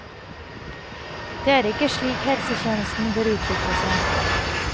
Det er ikke slik helsetjenesten bør utvikle seg.